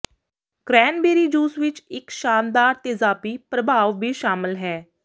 cranberry juice ਵਿੱਚ ਇੱਕ ਸ਼ਾਨਦਾਰ ਤੇਜ਼ਾਬੀ ਪ੍ਰਭਾਵ ਵੀ ਸ਼ਾਮਲ ਹੈ